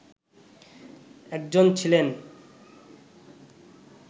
একজন ছিলেন